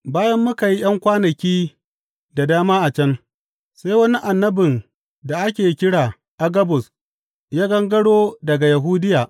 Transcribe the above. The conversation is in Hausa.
Bayan muka yi ’yan kwanaki da dama a can, sai wani annabin da ake kira Agabus ya gangaro daga Yahudiya.